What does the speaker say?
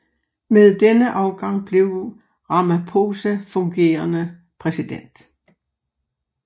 Med denne afgang blev Ramaphosa fungerende præsident